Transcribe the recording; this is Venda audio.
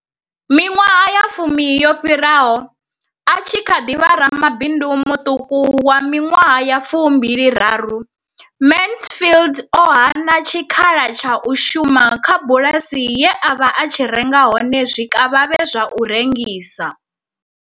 Miṅwaha ya fumi yo fhiraho, a tshi kha ḓi vha ramabindu muṱuku wa miṅwaha ya fu mbili raru, Mansfield o hana tshikhala tsha u shuma kha bulasi ye a vha a tshi renga hone zwikavhavhe zwa u rengisa.